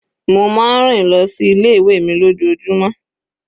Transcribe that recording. Mo máa ń rìn lọ sí ilé ìwé mi lójoojúmó.